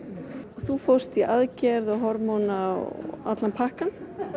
þú fórst í aðgerð og hormóna allan pakkann